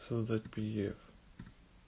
создать пиэф